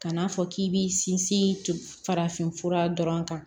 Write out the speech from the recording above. Kan'a fɔ k'i b'i sinsin farafinfura dɔrɔn kan